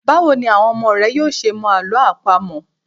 Báwo ni àwọn ọmọ rẹ yóò ṣe mọ Àlọ́ àpamọ̀?